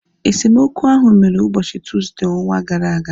Esemokwu ahu mere ụbọchị Tuuzde ọnwa gara aga